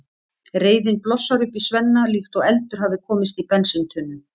Reiðin blossar upp í Svenna líkt og eldur hafi komist í bensíntunnu.